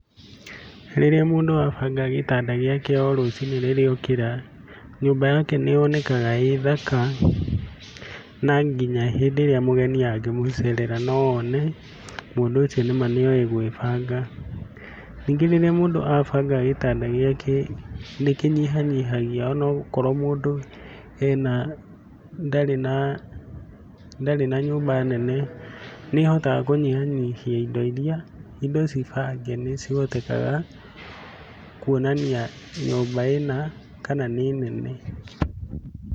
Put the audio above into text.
Rĩrĩa mũndu abanga gĩtanda gĩake o rũcinĩ rĩrĩa okĩra, nyũmba yake nĩ yonekaga ĩ thaka, na nginya hĩndĩ ĩrĩa mũgeni angĩmũcerera no one mũndũ ũcio nĩ ma nĩoĩ gwĩbanga. Rĩngĩ rĩrĩa mũndũ abanga gĩtanda gĩake nĩ kĩnyihanyihagia ona okorwo mũndu ndarĩ na nyũmba nene nĩ ahotaga kũnyihanyihia indo iria, indo ciĩ bange nĩ cihotekaga kuonania kana nyũmba ĩna, kana nĩ nene.